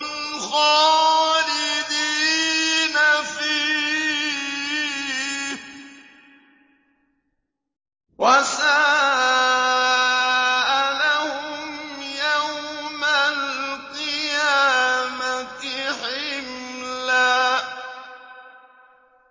خَالِدِينَ فِيهِ ۖ وَسَاءَ لَهُمْ يَوْمَ الْقِيَامَةِ حِمْلًا